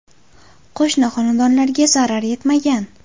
Qo‘shni xonadonlarga zarar yetmagan.